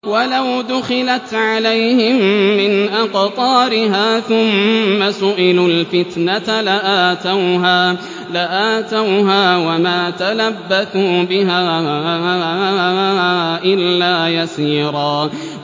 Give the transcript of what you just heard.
وَلَوْ دُخِلَتْ عَلَيْهِم مِّنْ أَقْطَارِهَا ثُمَّ سُئِلُوا الْفِتْنَةَ لَآتَوْهَا وَمَا تَلَبَّثُوا بِهَا إِلَّا يَسِيرًا